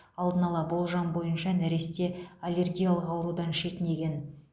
алдын ала болжам бойынша нәресте аллергиялық аурудан шетінеген